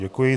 Děkuji.